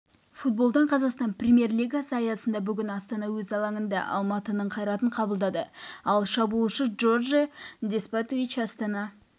футболдан қазақстан премьер-лигасы аясында бүгін астана өз алаңында алматының қайратын қабылдады ал шабуылдаушы джордже деспотович астана